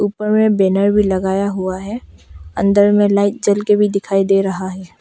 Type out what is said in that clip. ऊपर में बैनर भी लगाया हुआ है अंदर में लाइट जल के भी दिखाई दे रहा है।